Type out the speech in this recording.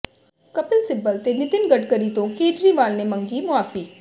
ਕਪਿਲ ਸਿੱਬਲ ਤੇ ਨਿਤਿਨ ਗਡਕਰੀ ਤੋਂ ਕੇਜਰੀਵਾਲ ਨੇ ਮੰਗੀ ਮੁਆਫੀ